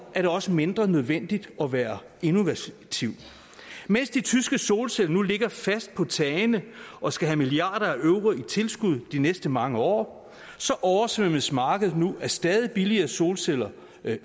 er det også mindre nødvendigt at være innovativ mens de tyske solceller nu ligger fast på tagene og skal have milliarder af euro i tilskud de næste mange år oversvømmes markedet nu af stadig billigere solceller